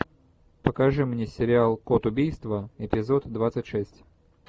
покажи мне сериал код убийства эпизод двадцать шесть